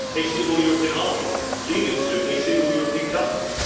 a single European army leading to a single European government.